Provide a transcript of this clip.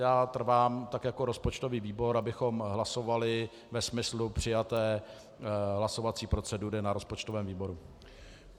Já trvám, tak jako rozpočtový výbor, abychom hlasovali ve smyslu přijaté hlasovací procedury na rozpočtovém výboru.